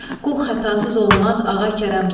Qul xətasız olmaz, ağa kərəmsiz.